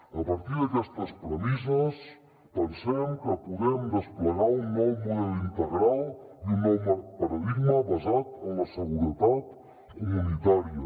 a partir d’aquestes premisses pensem que podem desplegar un nou model integral i un nou paradigma basat en la seguretat comunitària